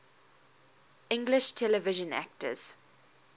english television actors